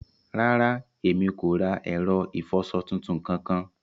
Ràrà, emi kò ra ẹrọ ifọṣọ̀ tuntun kankan.